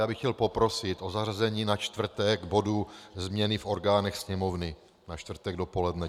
Já bych chtěl poprosit o zařazení na čtvrtek bodu změny v orgánech Sněmovny - na čtvrtek dopoledne.